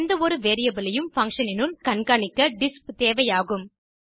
எந்த ஒரு வேரியபிள் ஐயும் பங்ஷன் இனுள் கண்காணிக்க டிஸ்ப் தேவையாகும்